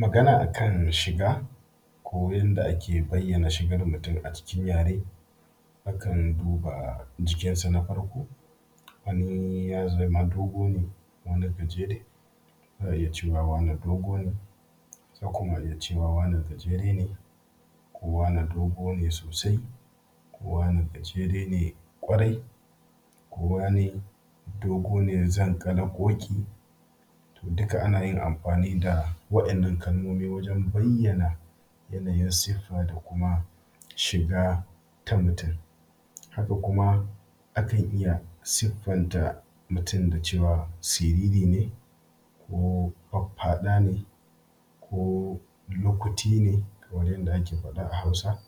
Magana akan shiga, ko yadda ake bayyanan shigar mutum a cikin yare hakan duba jikinsa na farko wani gajere za'a iya cewa wane dogo ne, ko kuma a iya cewa wane gajere ne, ko wane dogo ne sosai, ko wane gajere ne kwarai, ko wane dogo ne zanƙala-ƙoƙi to duka ana yin amfani da wa'innan kalmomi wajen bayyana yanayin siffa, da kuma shiga ta mutum. Haka kuma akan iya siffanta mutum da cewa siririne, ko faffaɗane, ko lukuti ne, kamar yadda ake faɗa a Hausa,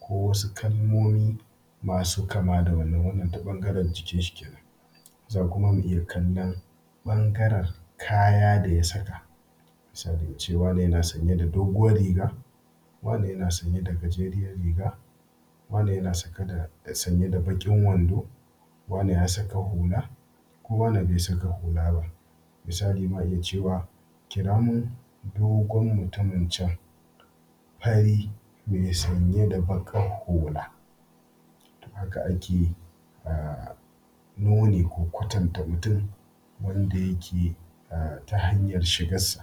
ko wasu kalmomi masu kama da wannan. Wannan ta ɓangaren jikinshi kenan, za kuma mu iya kallon ɓangaren kaya da ya saka, se mu ce wane yana sanye da daoguwar riga, wane yana sanye da gajeriyar riga, wane yana saka da sanye da baƙin wando, ko wane ya saka hula, ko wane be saka hula ba. Misali ma iya cewa kira min dogon mutumin can, fari, me sanye da baƙar hula. Haka a ke yi a nuni ko kwatanta mutum wanda yake, um ta hanyar shigassa.